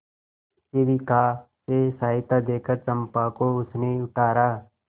शिविका से सहायता देकर चंपा को उसने उतारा